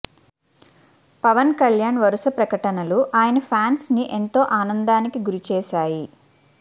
పవన్ కళ్యాణ్ వరుస ప్రకటనలు ఆయన ఫ్యాన్స్ ని ఎంతో ఆనందానికి గురి చేశాయి